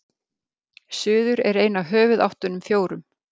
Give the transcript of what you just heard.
suður er ein af höfuðáttunum fjórum